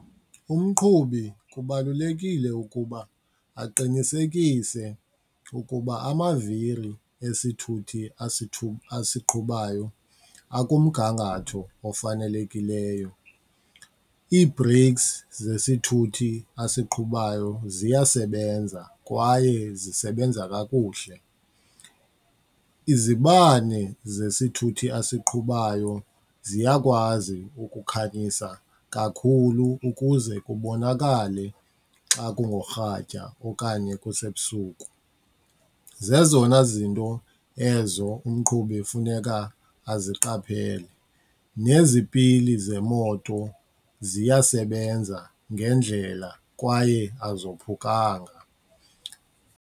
Umqhubi kubalulekile ukuba aqinisekise ukuba amaviri esithuthini asiqhubayo akumgangatho ofanelekileyo, ii-breaks zesithuthi asiqhubayo ziyasebenza kwaye zisebenza kakuhle, izibane zesithuthi asiqhubayo ziyakwazi ukukhanyisa kakhulu ukuze kubonakale xa kungorhatya okanye kusebusuku. Zezona zinto ezo umqhubi funeka aziqaphele, nezipili zemoto ziyasebenza ngendlela kwaye azophukanga.